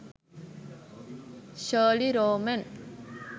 sheryl romen